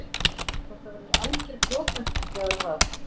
Hvort það verður alger brotlending eða hvað?